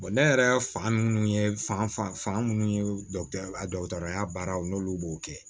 ne yɛrɛ fanga minnu ye fanga minnu ye a dɔgɔtɔrɔya baaraw n'olu b'o kɛ